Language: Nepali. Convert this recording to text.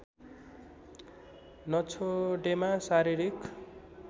नछोडेमा शारीरिक